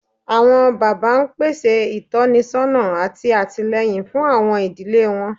Awọn baba n pese itọnisọna ati atilẹyin fun awọn idile wọn